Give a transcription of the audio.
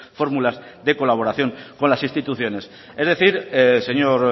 fórmulas de colaboración con las instituciones es decir señor